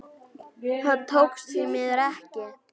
Það tókst því miður ekki.